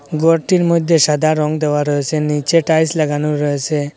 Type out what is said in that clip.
ঘরটির মধ্যে সাদা রং দেওয়া রয়েছে নীচে টাইলস লাগানোও রয়েছে।